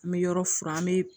An bɛ yɔrɔ furan an bɛ